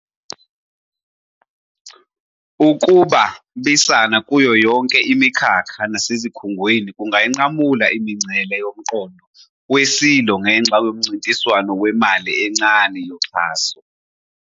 Ukuba, bisana kuyo yonke imikhakha nasezikhungweni kungayinqamula imingcele yomqondo we-silo ngenxa yomncintiswano wemali encane yoxhaso.